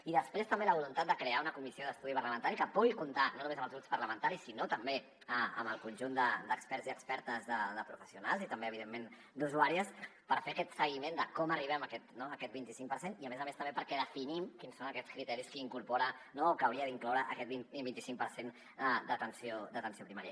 i després també la voluntat de crear una comissió d’estudi parlamentari que pugui comptar no només amb els grups parlamentaris sinó també amb el conjunt d’experts i expertes de professionals i també evidentment d’usuàries per fer aquest seguiment de com arribem no a aquest vint i cinc per cent i a més a més també perquè definim quins són aquests criteris que incorpora o que hauria d’incloure aquest vint i cinc per cent d’atenció primària